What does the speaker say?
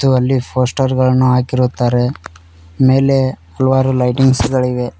ಅಲ್ಲಿ ಪೋಸ್ಟರ್ ಅನ್ನು ಹಾಕಿರುತ್ತಾರೆ ಮೇಲೆ ಹಲವಾರು ಲೈಟಿಂಗ್ಸ್ ಗಳಿವೆ.